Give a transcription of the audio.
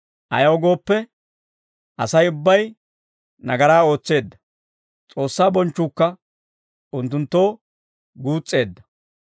Ayaw gooppe, Asay ubbay nagaraa ootseedda; S'oossaa bonchchuukka unttunttoo guus's'eedda.